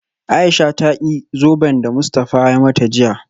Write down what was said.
Aisha ta ki zoben da Mustafa ya mata jiya